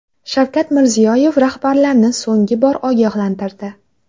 Shavkat Mirziyoyev rahbarlarni so‘nggi bor ogohlantirdi .